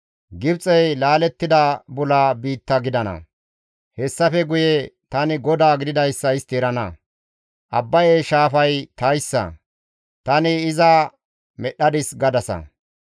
Gibxey laalettida bula biitta gidana. Hessafe guye tani GODAA gididayssa istti erana. « ‹Abbaye shaafay tayssa; tani iza medhdhadis› gadasa.